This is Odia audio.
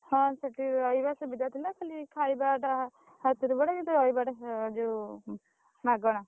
ହଁ ସେଠି ରହିବା ସୁବିଧା ଥିଲା ଖାଲି ଖାଇବାଟା ହାତରୁ ପଡେ କିନ୍ତୁ ରହିବାଟା ଯୋଉ ମାଗଣା।